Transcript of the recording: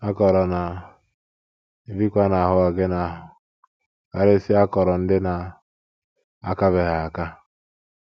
Akọrọ na - ebikwa n’ahụ́ ọgịnị ahụ, karịsịa akọrọ ndị na - akabeghị aka.